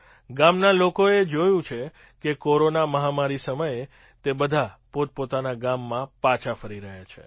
ગામના લોકોએ જોયું છે કે કોરોના મહામારી સમયે તે બધાં પોતાના ગામમાં પાછા ફરી રહ્યા છે